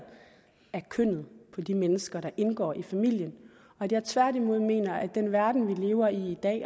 af kønnet på de mennesker der indgår i familien og at jeg tværtimod mener at i den verden vi lever i i dag